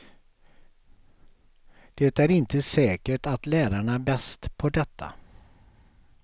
Det är inte säkert att lärarna är bäst på detta.